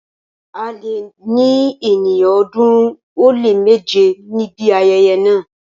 A lè ní ènìyàn ọ̀ọ́dúnrún ó lé méje níbi ayẹyẹ náà.